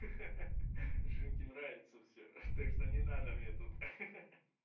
ха-ха женьке нравится всё так что не надо мне тут ха-ха